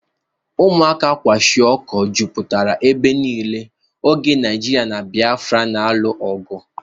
Ụmụaka kwashịoko jụpụtara ebe niile oge Naajiria na Biafra n'alụ ọgụ.